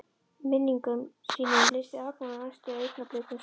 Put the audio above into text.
Í minningum sínum lýsti Agnar næstu augnablikum svo